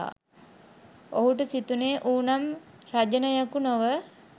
ඔහුට සිතුනේ ඌ නම් රජනයකු නොව